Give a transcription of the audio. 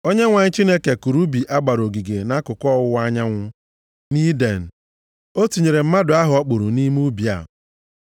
Onyenwe anyị Chineke kụrụ ubi a gbara ogige nʼakụkụ ọwụwa anyanwụ, nʼIden. O tinyere mmadụ ahụ ọ kpụrụ nʼime ubi a.